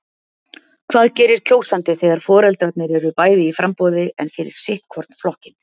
Hvað gerir kjósandi þegar foreldrarnir eru bæði í framboði en fyrir sitt hvorn flokkinn?